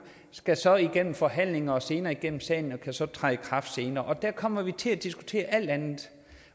skal så igennem forhandlinger og senere igennem salen og kan så træde i kraft senere og der kommer vi til at diskutere alt andet